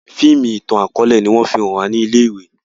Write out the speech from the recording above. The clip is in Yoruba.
fíìmù itan-akọọlẹ ní wón fí hàn wa ní ilé ìwé.